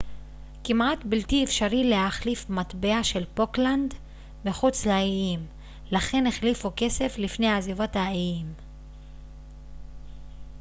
כמעט בלתי אפשרי להחליף מטבע של פוקלנד מחוץ לאיים לכן החליפו כסף לפני עזיבת האיים